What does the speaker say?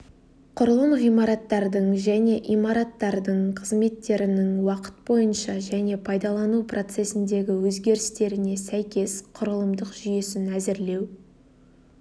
құрылым ғимараттардың және имараттардың қызметтерінің уақыт бойынша және пайдалану процесіндегі өзгерістеріне сәйкес құрылымдық жүйесін әзірлеу